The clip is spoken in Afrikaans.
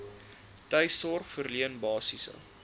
tuissorg verleen basiese